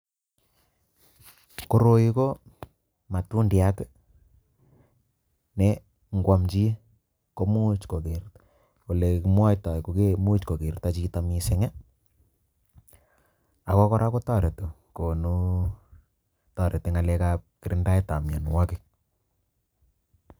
Koroi ko matundiat ne kwam chi komuch ole kimwoitoi komuch kokerto chito missing ako kora kotoreti konu toreti kalekab kirindaetab mienwogik.